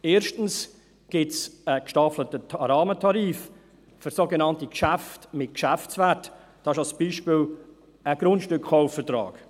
Erstens gibt es einen gestaffelten Rahmentarif für sogenannte Geschäfte mit Geschäftswert, dies ist als Beispiel ein Grundstückkaufvertrag.